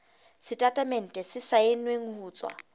setatemente se saennweng ho tswa